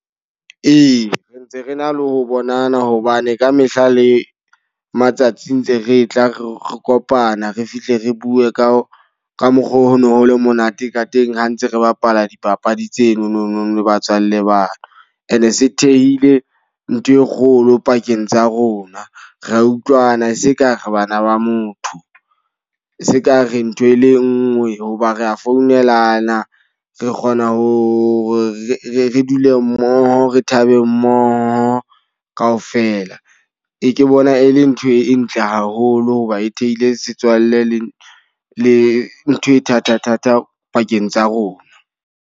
Ee, re ntse re na le ho bonana hobane ka mehla le matsatsi ntse re tla re kopana re fihle re bue ka ka mokgoo ho no ho le monate ka teng ha ntse re bapala dipapadi tseno nonong le batswalle ba ka. E ne e se thehile ntho e kgolo pakeng tsa rona, ra utlwana seka re bana ba motho. Se ka re ntho e le nngwe hoba re a founelana. Re kgona ho re dule mmoho, re thabe mmoho ka ofela. Re e ke bona e le ntho e ntle haholo hoba e thehile setswalle le le ntho e thata thata pakeng tsa rona.